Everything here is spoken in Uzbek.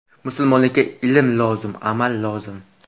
Musulmonlikga ilm lozim, amal lozim.